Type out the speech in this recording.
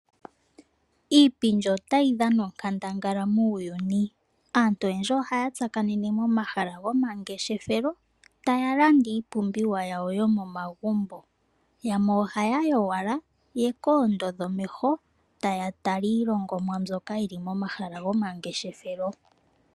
Iipindi otayi dhana onkandangala muuyuni, aantu oyendji ohaya tsakanene momahala goma ngeshefelo taya landa iipumbiwa yawo yomo magumbo. Yamwe ohaya yi owala ya ka ondodhe omeho taya tala ilongonwa mbyoka yili momahala goma ngeshefelo.